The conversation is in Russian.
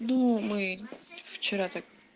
ну мы вчера так